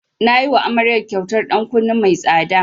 Na yiwa amaryar kyautar ɗan kunne mai tsada.